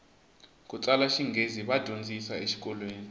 kutsala xinghezi va dyondzisa e xikolweni